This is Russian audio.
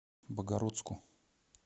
богородску